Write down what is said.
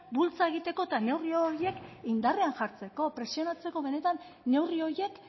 bultza egiteko eta neurri horiek indarrean jartzeko presionatzeko benetan neurri horiek